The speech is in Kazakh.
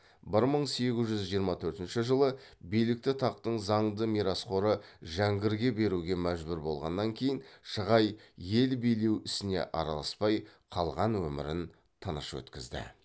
бір мың сегіз жүз жиырма төртінші жылы билікті тақтың заңды мирасқоры жәңгірге беруге мәжбүр болғаннан кейін шығай ел билеу ісіне араласпай қалған өмірін тыныш өткізді